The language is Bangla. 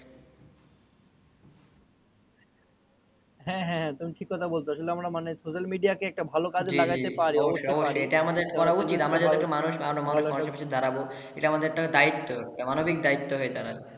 হ্যা হ্যা তুমি ঠিক কোথা বলতেছো। আসলে মানে social media কে একটা ভালো কাজে লাগাতে পারি। জি জি অবশ্যই। এটা আমাদের করা উচিৎ। এটা আমাদের একটা দায়িত্ব। এটা মানবিক দায়িত্ব হয়ে দাঁড়াবে।